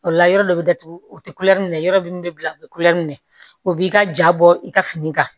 O la yɔrɔ dɔ bɛ datugu u tɛ kulɛri minɛ yɔrɔ min bɛ bila u bɛ kulɛri minɛ o b'i ka ja bɔ i ka fini kan